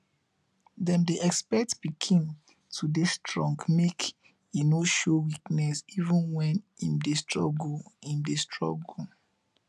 dem dey expect pikin to dey strong make e no show weakness even when im dey struggle. im dey struggle.